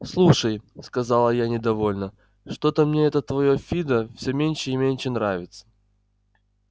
слушай сказала я недовольно что-то мне это твоё фидо все меньше и меньше нравится